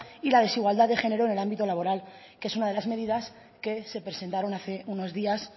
y la desigualdad de género en el ámbito laboral que es una de las medidas que se presentaron hace unos días